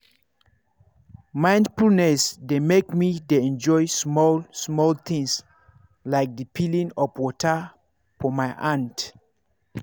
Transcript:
mindfulness dey make me dey enjoy small-small things like the feeling of water for my hand.